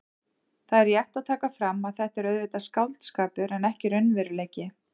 Það er rétt að taka fram að þetta er auðvitað skáldskapur en ekki raunveruleiki.